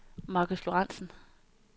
Marcus Lorentsen